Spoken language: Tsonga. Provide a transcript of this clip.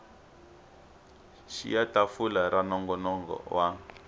xiya tafula ra nongonoko wa